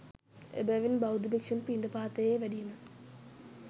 එබැවින් බෞද්ධ භික්‍ෂූන් පිණ්ඩපාතයේ වැඩීම